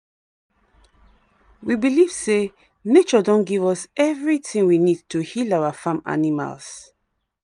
we believe say nature don give us everything we need to heal our farm animals.